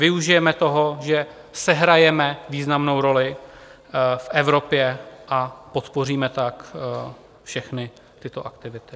Využijeme toho, že sehrajeme významnou roli v Evropě, a podpoříme tak všechny tyto aktivity.